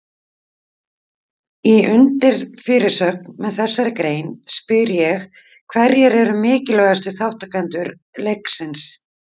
Í undirfyrirsögn með þessari grein spyr ég hverjir eru mikilvægustu þátttakendur leiksins?